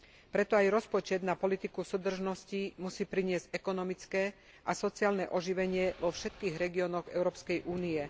Preto aj rozpočet na politiku súdržnosti musí priniesť ekonomické a sociálne oživenie vo všetkých regiónoch Európskej únie.